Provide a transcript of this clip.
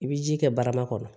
I bɛ ji kɛ barama kɔnɔ